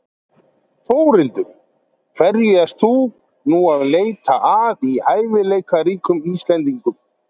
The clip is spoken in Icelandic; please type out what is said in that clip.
Þórhildur: Hverju ert þú nú að leita að í hæfileikaríkum Íslendingum?